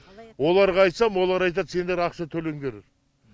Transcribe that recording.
оларға айтсам олар айтады сендер ақша төлеңдер